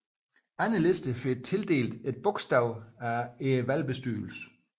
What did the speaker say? Andre lister får tildelt et bogstav af valgbestyrelsen